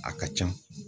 A ka ca